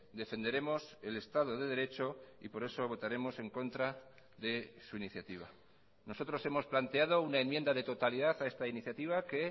defenderemos el estado de derecho y por eso votaremos en contra de su iniciativa nosotros hemos planteado una enmienda de totalidad a esta iniciativa que